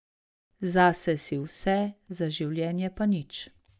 Zase si vse, za življenje pa nič.